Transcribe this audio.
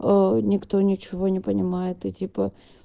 аа никто ничего не понимает и типа